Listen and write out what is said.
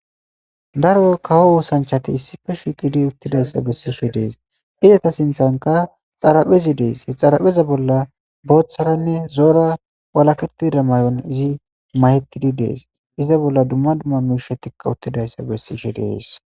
daro kawo oosanchati issife shiqidi uttidayssa bessishe dees eyata sinthanka xaraphezi dees he xarapheza bolla booththaranne zoora walakirtida may7on izi mayettidi dees iza bolla dumma dumma miishetikka uttidayssa bessishe dees